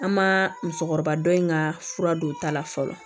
An ma musokɔrɔba dɔ in ka fura don ta la fɔlɔ